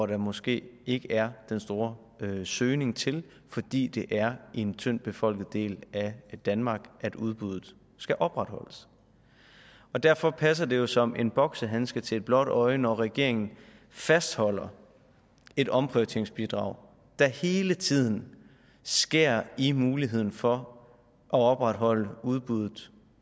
der måske ikke er den store søgning til fordi det er i en tyndt befolket del af danmark at udbuddet skal opretholdes derfor passer det jo som en boksehandske til et blåt øje når regeringen fastholder et omprioriteringsbidrag der hele tiden skærer i muligheden for at opretholde udbuddet